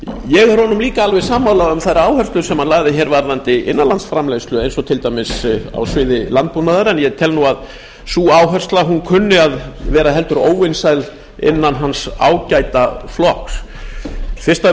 ég er honum líka alveg sammála um þær áherslur sem hann lagði hér varðandi innanlandsframleiðslu eins og til dæmis á sviði landbúnaðar en ég tel að sú áhersla kunni að vera heldur óvinsæl innan hans ágæta flokks fyrst